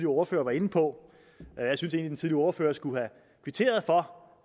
ordfører var inde på jeg synes egentlig at ordfører skulle have kvitteret for